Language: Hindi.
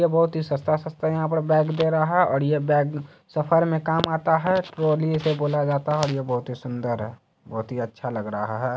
ये बहतु ही सस्ता-सस्ता यहाँ पे बैग दे रहा और ये बैग सफर में काम आता है ट्राली इसे बोला जाता है और ये बहुत ही सुंदर है बहुत ही अच्छा लग रहा है।